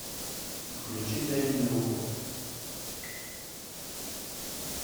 включи дай мне руку